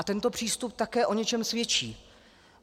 A tento přístup také o něčem svědčí.